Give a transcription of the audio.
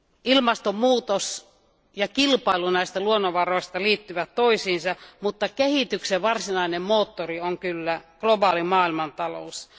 Ilmastonmuutos ja kilpailu näistä luonnonvaroista liittyvät toisiinsa, mutta kehityksen varsinainen moottori on kyllä globaali maailmantalous.